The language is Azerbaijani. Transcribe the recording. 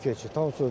Yeraltı keçid.